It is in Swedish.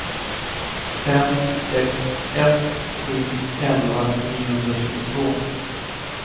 fem sex ett sju elva niohundratjugotvå